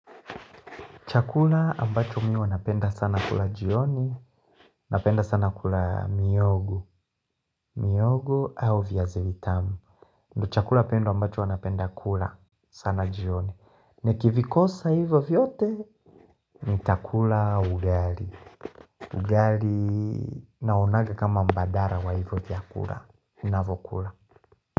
Chakula ambacho mi napenda sana kula jioni, napenda sana kula mihogo, mihogo au viazi vitamu. Ndiyo chakula pendo ambacho napenda kula sana jioni. Ni kivikosa hivyo vyote, nitakula ugali. Ugali naonaga kama mbadara wa hivyo vyakula. Ninavyokula.